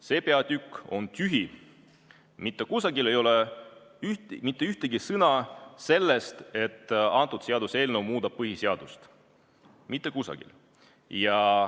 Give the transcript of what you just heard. See peatükk on tühi, mitte kusagil ei ole mitte ühtegi sõna sellest, et seaduseelnõu muudab põhiseadust, mitte kusagil.